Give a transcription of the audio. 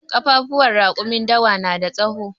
Ƙafafuwan raƙumin dawa na da tsawo.